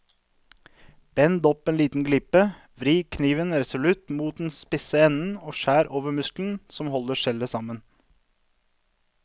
Bend opp en liten glipe, vri kniven resolutt mot den spisse enden og skjær over muskelen som holder skjellet sammen.